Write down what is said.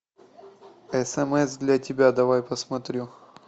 смс для тебя давай посмотрю